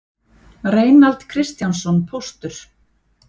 Reinald Kristjánsson póstur